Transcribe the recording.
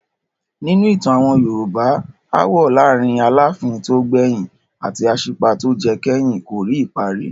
Nínú ìtàn àwọn Yorùbá, aáwọ̀ láàárin Aláàfin tó gbẹ̀yìn àti Aṣípa tó jẹ kẹ́yìn kò rí ìparí.